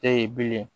E ye bile